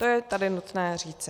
To je tady nutné říci.